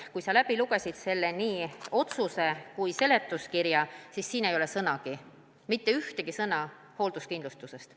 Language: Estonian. Aga kui sa lugesid läbi nii selle otsuse teksti kui seletuskirja, siis pidid nägema, et neis ei ole sõnagi, mitte ühtegi sõna hoolduskindlustusest.